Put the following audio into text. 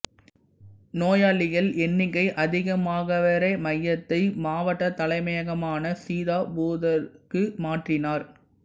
நோயாளிகள் எண்ணிக்கை அதிகமாகவே மெகரே மையத்தை மாவட்ட தலைமையகமான சீதாபூருக்கு மாற்றினார்